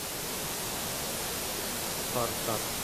спартак